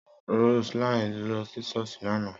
Rose line lọ sí ṣọ́ọ̀ṣì lánàá